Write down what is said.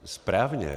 Správně.